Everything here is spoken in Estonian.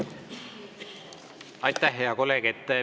Aitäh, hea kolleeg!